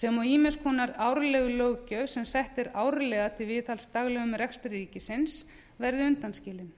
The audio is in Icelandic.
sem og ýmiss konar árleg löggjöf sem sett er árlega til viðhalds daglegum rekstri ríkisins verði undanskilin